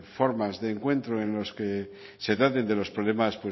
formas de encuentro en los que se traten de los problemas